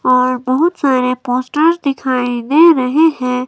और बहोत सारे पोस्टर्स दिखाई दे रहे हैं।